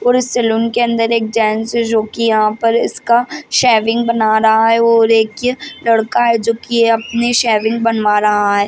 और उस सलून के अंदर एक जेंट्स है जो की यहाँ पर इसका शेविंग बना रहा है और एक लड़का है जो की अपनी शेविंग बनवा रहा है।